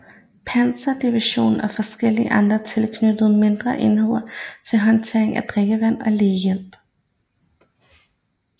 Panzerdivision og forskellige andre tilknyttede mindre enheder til håndtering af drikkevand og lægehjælp